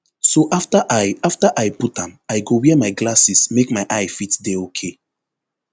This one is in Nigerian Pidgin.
so afta i afta i put am i go wear my glasses make my eye fit dey okay